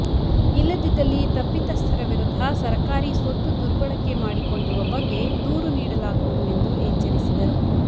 ಇಲ್ಲದಿದ್ದಲ್ಲಿ ತಪ್ಪಿತಸ್ಥರ ವಿರುದ್ಧ ಸರಕಾರಿ ಸೊತ್ತು ದುರ್ಬಳಕೆ ಮಾಡಿಕೊಂಡಿರುವ ಬಗ್ಗೆ ದೂರು ನೀಡಲಾಗುವುದು ಎಂದು ಎಚ್ಚರಿಸಿದರು